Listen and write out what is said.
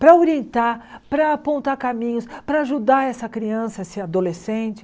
para orientar, para apontar caminhos, para ajudar essa criança, esse adolescente.